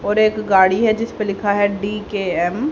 और एक गाड़ी है जिस पे लिखा है डी_के_एम ।